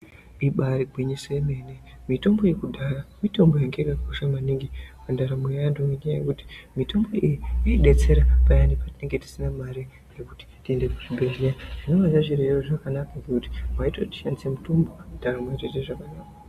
Ibari gwinyiso yemene, mitombo yekudhaya mitombo yangayakakosha maningi mundaramo eantu ngendaya yekuti mitombo iyi yaibetsera payani petinonga tisina mare yekuti tiende kuzvibhehlera zvingazvazo reva zvakanaka kuti waitoshandise mitombo weitedza zvakanaka.